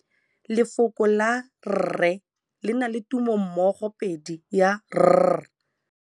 Lefoko la rre le na le tumammogôpedi ya, r.